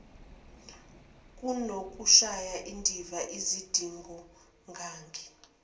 kunokushaya indiva izidingonqangi